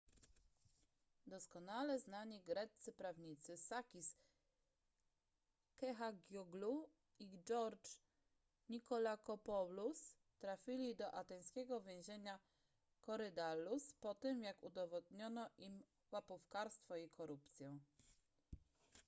doskonale znani greccy prawnicy sakis kechagioglou i george nikolakopoulos trafili do ateńskiego więzienia korydallus po tym jak udowodniono im łapówkarstwo i korupcję